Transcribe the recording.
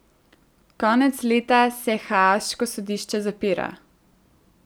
Konec leta se haaško sodišče zapira.